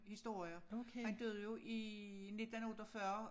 Historier han døde jo i 19 48